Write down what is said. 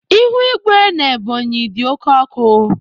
Ihu igwe n'Ebonyi dị oke ọkụ